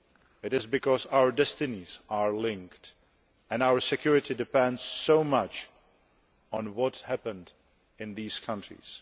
It is because our destinies are linked, and our security depends so much on what happens in these countries.